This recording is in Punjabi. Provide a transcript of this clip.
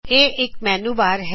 ਇਹ ਇਕ ਮੈਨੂ ਬਾਰ